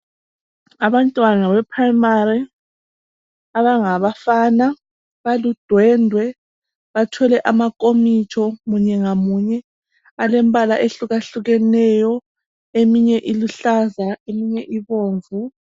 Abantwana be Primary abangabafana baludwendwe bathwele amankomitsho munye ngamunye. Alembala ehlukahlukeneyo eminye iluhlaza, eminye ibomvu .